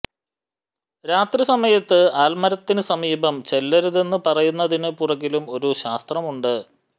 രാത്രി സമയത്ത് ആല്മരത്തിനു സമീപം ചെല്ലരുതെന്നു പറയുന്നതിനു പുറകിലും ഒരു ശാസ്ത്രമുണ്ട്